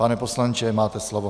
Pane poslanče, máte slovo.